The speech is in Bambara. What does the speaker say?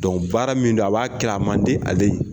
Dɔn baara min don a b'a kɛra , a man di ale ye.